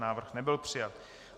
Návrh nebyl přijat.